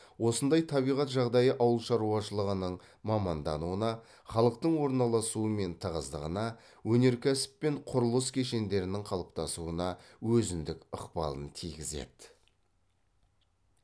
осындай табиғат жағдайы ауыл шаруашылығының мамандануына халықтың орналасуы мен тығыздығына өнеркәсіп пен құрылыс кешендерінің қалыптасуына өзіндік ықпалын тигізеді